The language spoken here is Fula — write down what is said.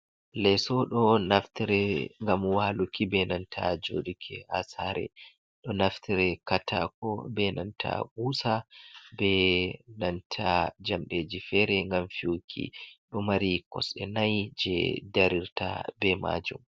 Lesso ɗo naftire ngam waluki benanta joɗi ki ha sare, ɗo naftire katako, benanta kusa, benanta jamɗeji fere ngam fewuki, ɗo mari kosɗe nai je darirta be majum.